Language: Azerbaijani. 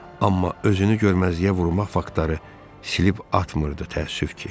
Amma özünü görməzliyə vurmaq faktları silib atmırdı, təəssüf ki.